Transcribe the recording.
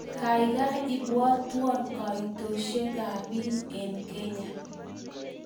Gaigai ipwotwon kaitosysiekap biik eng' Kenya